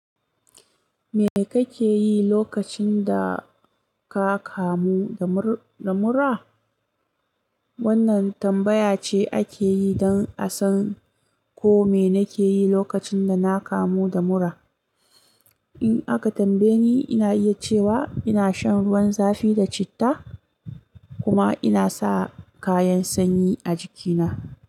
Me kake yi lokacin da ka kamu da mura? Wannan tambaya ce ake yi don a san ko me na ke yi lokacin da na kamu da mura. In aka tambaye ni, ina iya cewa ina shan ruwan zafi da citta, kuma ina sa kayan sanyi a jikina.